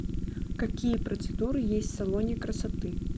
какие процедуры есть в салоне красоты